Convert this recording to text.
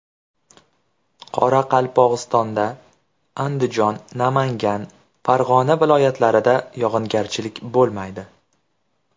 Qoraqalpog‘istonda, Andijon, Namangan, Farg‘ona viloyatlarida yog‘ingarchilik bo‘lmaydi.